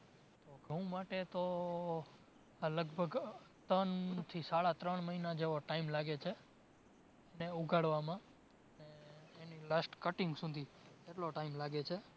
તો ઘઉં માટે તો લગભગ ત્રણ થી સાડા ત્રણ મહિના જેવો time છે. એને ઉગાડવામાં ને એની last cutting સુધી. એટલો time લાગે છે